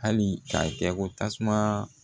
Hali k'a kɛ ko tasuma